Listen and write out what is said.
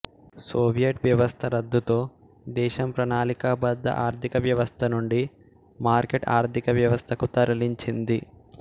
Soviet వ్యవస్థ రద్దుతో దేశం ప్రణాళికాబద్ధ ఆర్థిక వ్యవస్థ నుండి మార్కెట్ ఆర్థిక వ్యవస్థకు తరలించింది